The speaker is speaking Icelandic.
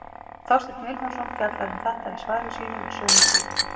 Þorsteinn Vilhjálmsson fjallar um þetta í svari sínu við sömu spurningu.